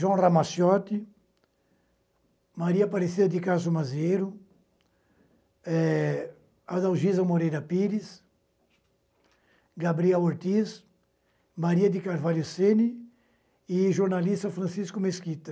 João Ramaciotti, Maria Aparecida de Caso Mazeiro, eh Adalgisa Moreira Pires, Gabriela Ortiz, Maria de Carvalho Sene e jornalista Francisco Mesquita.